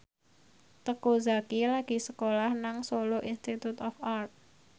Teuku Zacky lagi sekolah nang Solo Institute of Art